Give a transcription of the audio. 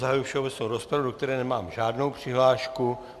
Zahajuji všeobecnou rozpravu, do které nemám žádnou přihlášku.